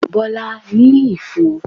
Bọlá ní ifo